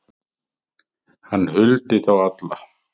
Hann huldi þá alla